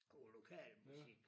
God lokal musik